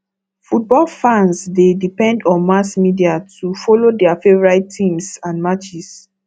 football fans dey depend on mass media to follow their favorite teams and matches